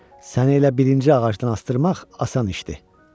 Səni elə birinci ağacdan asdırmaq asan işdir.